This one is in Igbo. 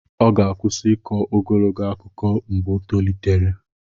Ọ ga-akwụsị ịkọ ogologo akụkọ mgbe o tolitere.